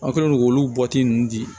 Aw kɛlen don k'olu ninnu di